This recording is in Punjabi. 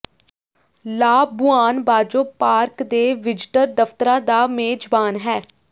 ਲਾਬੁਆਨ ਬਾਜੋ ਪਾਰਕ ਦੇ ਵਿਜ਼ਟਰ ਦਫਤਰਾਂ ਦਾ ਮੇਜ਼ਬਾਨ ਹੈ